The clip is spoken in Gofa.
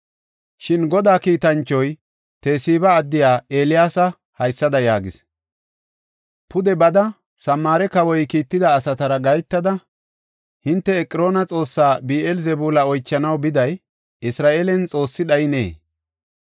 Shin Godaa kiitanchoy Tesiba addiya Eeliyaasa haysada yaagis; “Pude bada, Samaare kawoy kiitida asatara gahetada, ‘Hinte Eqroona xoossaa Bi7eel-Zebuula oychanaw biday, Isra7eelen Xoossi dhayineyee?’